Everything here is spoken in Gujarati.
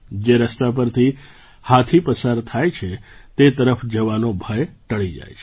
જે રસ્તા પરથી હાથી પસાર થાય છે તે તરફ જવાનો ભય ટળી જાય છે